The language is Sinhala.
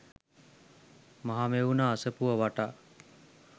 මහමෙවුනා අසපුව වටා